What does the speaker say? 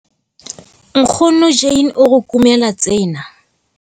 Nkgono Jane o re kumela tsena...